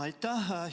Aitäh!